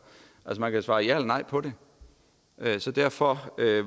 man kan svare ja eller nej på det så derfor